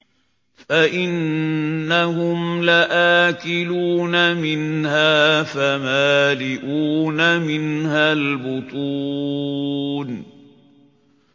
فَإِنَّهُمْ لَآكِلُونَ مِنْهَا فَمَالِئُونَ مِنْهَا الْبُطُونَ